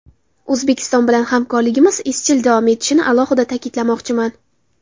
O‘zbekiston bilan hamkorligimiz izchil davom etishini alohida ta’kidlamoqchiman.